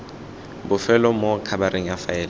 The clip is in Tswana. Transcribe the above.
bofelo mo khabareng ya faele